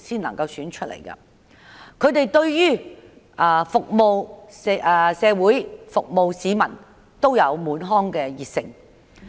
他們對於服務社會、服務市民滿腔熱誠。